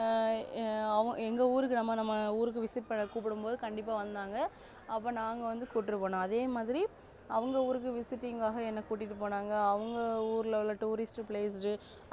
ஆஹ் அவ எங்க ஊருக்கு நாம visit பண்ண கூப்டும் போது கண்டிப்பா வந்தாங்க அப்பா நாங்க வந்து கூட்டிட்டு போனோம் அவங்க ஊருக்கு visiting காக என்ன கூட்டிட்டு போனாங்க அவங்க ஊரில உள்ள tourist place